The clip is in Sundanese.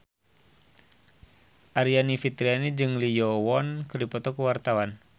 Aryani Fitriana jeung Lee Yo Won keur dipoto ku wartawan